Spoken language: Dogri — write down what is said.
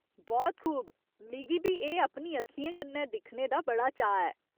बहुत खूब ! मिगी बी एह् अपनी अक्खियें कन्नै दिक्खने दा बड़ा चाऽ ऐ।